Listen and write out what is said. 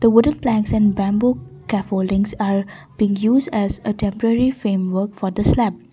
the wooden planks and bamboo cafoldings are being use as temporary frame work for the slab.